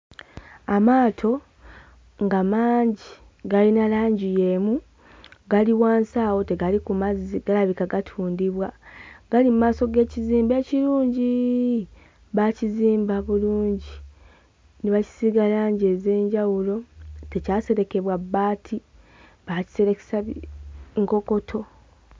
Amaato nga mangi galina langi y'emu gali wansi awo tegali ku mazzi galabika gatundibwa gali mmaaso g'ekizimbe ekirungiiiii baakizimba bulungi ne bakisiiga langi ez'enjawulo tekyaserekebwa bbaati baakiserekesa bi nkokoto.